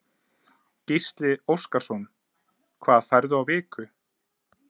Gísli Óskarsson: Hvað færðu á viku?